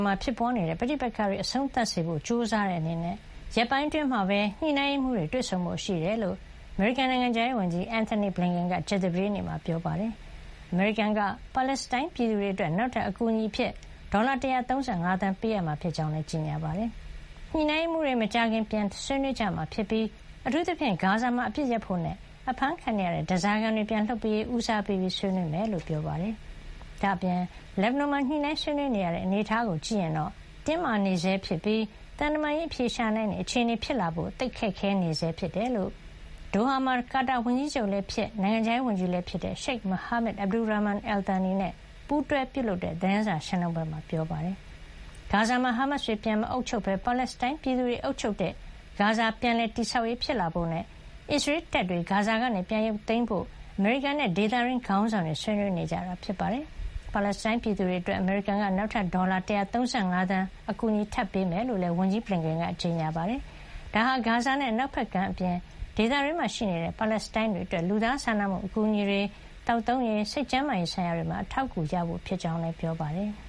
မှာဖြစ်နေတဲ့ပဋိပက္ခတွေ အဆုံးသတ်စေဖို့ကြိုးစားတဲ့အနေနဲ့ ရက်ပိုင်းအတွင်း ညှိနှိုင်းရေးမှူးတွေတွေ့ဆုံဖို့ရှိတယ်လို့ အမေရိကန်နိုင်ငံခြားရေးဝန်ကြီး Antony Blinken က ကြာသပတေးနေ့မှာ ပြောပါတယ်။ ဒါ့အပြင်အမေရိကန်က ပါလက်စတိုင်းပြည်သူတွေအတွက် နောက်ထပ် ဒေါ်လာ ၁၃၅ သန်း အကူအညီပေးမှာဖြစ်ကြောင်းလည်းကြေညာခဲ့ပါတယ်။ ညှိနှိုင်းရေးမှူးတွေ မကြာခင် ပြန်လည်ဆွေးနွေးကြမှာဖြစ်ပြီး အထူးသဖြင့် ဂါဇာမှာအပစ်ရပ်ဖို့နဲ့ အဖမ်းခံနေရတဲ့ဓါးစာခံတွေ ပြန်လွှတ်ပေးရေး ဦးစားပေးဆွေးနွေးကြမှာ ဖြစ်ကြောင်းပြောပါတယ်။ ဒါ့အပြင် လက်ဘနွန်မှာ ညှိနှိုင်းဆွေးနွေးနေရတဲ့အနေထားကိုကြည့်ရင်တော့ တင်းမာနေဆဲဖြစ်ပြီး သံတမန်ရေးအဖြေရှာနိုင်တဲ့အခြေအနေဖြစ်လာဖို့ သိပ်ခက်နေဆဲဖြစ်ကြောင်း ကာတာဝန်ကြီးချုပ် လည်းဖြစ်၊ နိုငံခြားရေးဝန်ကြီးလည်းဖြစ်တဲ့ ရှိတ်မိုဟာမက် Abdulrahman Al Thani နဲ့ Doha မှာ ပူးတွဲ ပြုလုပ်တဲ့ သတင်းစာရှင်းလင်းပွဲမှာ ပြောပါတယ်။ ဂါဇာမှာ ဟာမတ်စ်တွေ ပြန်မအုပ်ချုပ်ဘဲ ပါလက်စတိုင်းပြည်သူတွေအုပ်ချုပ်တဲ့ ဂါဇာ ပြန်လည် တည်ဆောက်ရေးဖြစ်လာဖို့နဲ့ အစ္စရေးတပ်တွေ ဂါဇာကနေပြန်ရုပ်သိမ်းဖို့အတွက် အမေရိကန်နဲ့ ဒေသတွင်းခေါင်းဆောင်တွေ ဆွေးနွေးနေကြတာပါ။ ပါလက်စတိုင်း ပြည်သူတွေအတွက် အမေရိကန်က နောက်ထပ် ဒေါ်လာ ၁၃၅ သန်း အကူအညီပေးအပ်မှာဖြစ်ကြောင်းလည်း ဝန်ကြီး Blinken က ကြေညာပါတယ်။ ဒါဟာ ဂါဇာနဲ့ အနောက်ဘက်ကမ်းအပြင် ဒေသတွင်းမှာရှိနေတဲ့ ပါလက်စတိုင်းတွေအတွက် လူသားစာနာမှုအကူအညီတွေ၊ ရေ၊ သောက်သုံးရေ၊ စိတ်ကျန်းမာရေးဆိုင်ရာတွေမှာ အထောက်အကူ ရဖို့ဖြစ်ကြောင်း ပြောပါတယ်။